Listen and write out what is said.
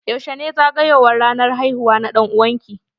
Yaushe ne ranar zagowar haihuwa na dan'uwan ki?